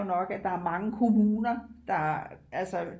er jo nok at der er mange kommuner der altså